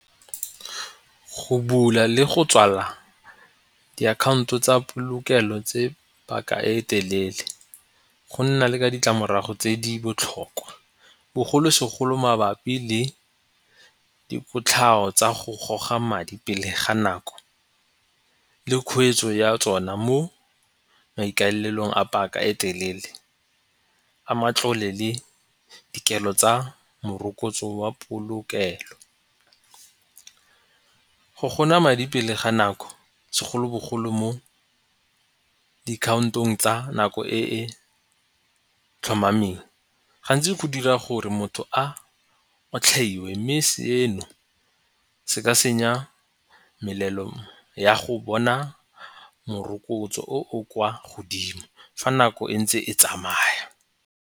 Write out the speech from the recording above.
Go bula le go tswala diakhaonto tsa polokelo tse paka e e telele go nna le ka ditlamorago tse di botlhokwa bogolo segolo mabapi le dikotlhao tsa go goga madi pele ga nako le kgweetso ya tsona mo maikaelelong a paka e telele a matlole le dikelo tsa morokotso wa polokelo. Go madi pele ga nako segolobogolo mo dikhaontong tsa nako e e tlhomameng gantsi go dira gore motho a otlhaiwe mme seno se ka senya melelo ya go bona morokotso o o kwa godimo fa nako e ntse e tsamaya.